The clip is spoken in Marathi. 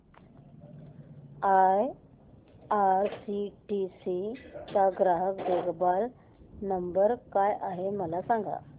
आयआरसीटीसी चा ग्राहक देखभाल नंबर काय आहे मला सांग